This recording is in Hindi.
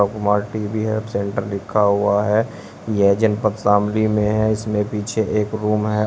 कुमार टी_वी हैव सेंटर लिखा हुआ है यह जनपद शामली में है इसमें पीछे एक रूम है।